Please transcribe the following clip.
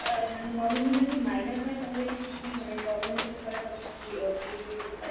অ্যাঁ মানে nominee যদি minor হয় তাহলে কী কী মানে problems হতে পারে বা কী কী অ্যাঁ changes হতে পারে?